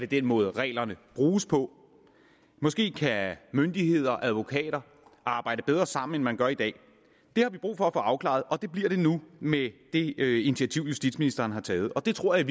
den måde reglerne bruges på måske kan myndigheder og advokater arbejde bedre sammen end man gør i dag det har vi brug for at få afklaret og det bliver det nu med det initiativ justitsministeren har taget og det tror jeg